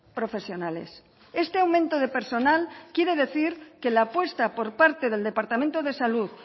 profesionales este aumento de personal quiere decir que la apuesta por parte del departamento de salud